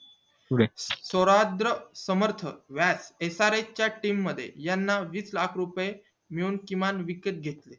सौराष्ट्र समर्थ srs च्या team मध्ये याना वीस लाख रुपये मिळून किमान विकत घेतल